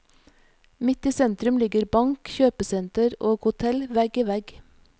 Midt i sentrum ligger bank, kjøpesenter og hotell vegg i vegg.